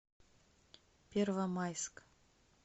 первомайск